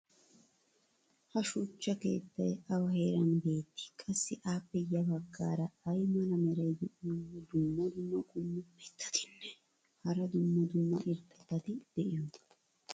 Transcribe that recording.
ha shuchcha keettay awa heeran beetii? qassi appe ya bagaara ay mala meray diyo dumma dumma qommo mitattinne hara dumma dumma irxxabati de'iyoonaa?